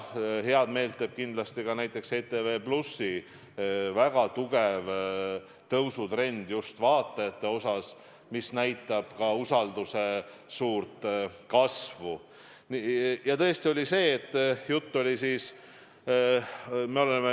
Head meelt teeb kindlasti ka näiteks ETV+ väga tugev tõusutrend just vaatajate arvus, mis näitab ka usalduse suurt kasvu.